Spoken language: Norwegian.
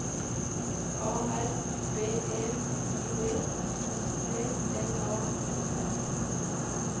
A R B E I D S P L A S S